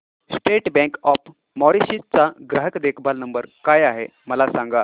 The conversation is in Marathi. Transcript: स्टेट बँक ऑफ मॉरीशस चा ग्राहक देखभाल नंबर काय आहे मला सांगा